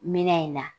Minɛn in na